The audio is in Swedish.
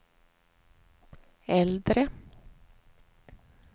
äldre